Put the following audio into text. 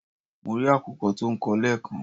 Mo rí àkùkọ tó ń kọ lẹ́ẹ̀kan